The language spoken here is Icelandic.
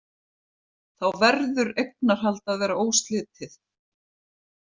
Þá verður eignarhald að vera óslitið.